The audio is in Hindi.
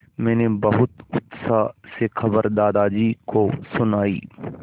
मैंने बहुत उत्साह से खबर दादाजी को सुनाई